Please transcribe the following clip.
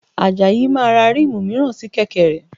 Àjàyí máa ra ríìmù mìíràn sí kẹ̀kẹ́ rẹ̀